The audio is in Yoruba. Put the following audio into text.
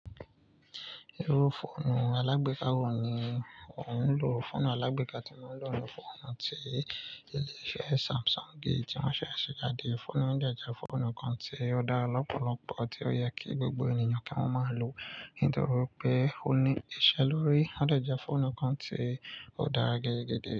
Irú fóònù alágbéka wo ni ó ń lò? Fóònù alágbéka tí mo ń lò ni fóònù tí ilé-iṣẹ́ Samsungi tí wọ́n ṣẹ̀ ṣe jáde fóònù yi de jẹ́ fóònù kan tí ó dára lọ́pọ̀lọpọ̀ tí ó yẹ kí gbogbo ènìyàn kí wọ́n máa lò nítorí pé ó ní iṣẹ́ lórí. Ó de je fóònù kan tí ó dára gidigidi.